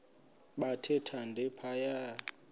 bathe thande phaya